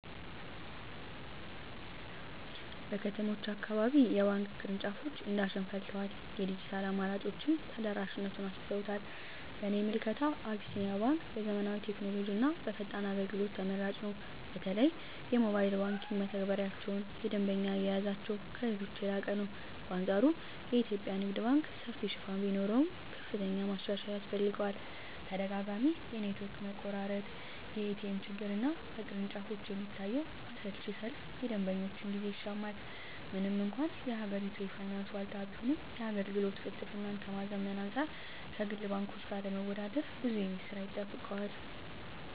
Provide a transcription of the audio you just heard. በከተሞች አካባቢ የባንክ ቅርንጫፎች እንደ አሸን ፈልተዋል፤ የዲጂታል አማራጮችም ተደራሽነቱን አሰፍተውታል። በእኔ ምልከታ አቢሲኒያ ባንክ በዘመናዊ ቴክኖሎጂና በፈጣን አገልግሎት ተመራጭ ነው። በተለይ የሞባይል መተግበሪያቸውና የደንበኛ አያያዛቸው ከሌሎች የላቀ ነው። በአንፃሩ የኢትዮጵያ ንግድ ባንክ ሰፊ ሽፋን ቢኖረውም፣ ከፍተኛ ማሻሻያ ያስፈልገዋል። ተደጋጋሚ የኔትወርክ መቆራረጥ፣ የኤቲኤም ችግርና በቅርንጫፎች የሚታየው አሰልቺ ሰልፍ የደንበኞችን ጊዜ ይሻማል። ምንም እንኳን የሀገሪቱ የፋይናንስ ዋልታ ቢሆንም፣ የአገልግሎት ቅልጥፍናን ከማዘመን አንፃር ከግል ባንኮች ጋር ለመወዳደር ብዙ የቤት ሥራ ይጠብቀዋል።